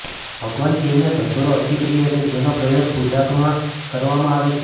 ભગવાન શિવને ધતૂરો અતિપ્રિય છે જેનો પ્રયોગ પૂજામાં કરવામાં આવે છે